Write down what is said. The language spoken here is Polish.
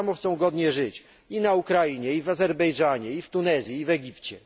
Tak samo chcą godnie żyć i na Ukrainie, i w Azerbejdżanie, i w Tunezji, i w Egipcie.